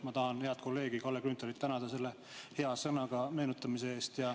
Ma tahan head kolleegi Kalle Grünthalit tänada selle hea sõnaga meenutamine eest.